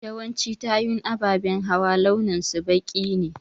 Yawancin tayun ababen hawa launin su baƙi ne.